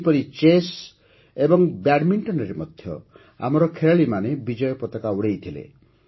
ସେହିପରି ଚେସ୍ ଓ ବ୍ୟାଡ଼ମିଣ୍ଟନରେ ମଧ୍ୟ ଆମର ଖେଳାଳିମାନେ ବିଜୟ ପତାକା ଉଡ଼ାଇଥିଲେ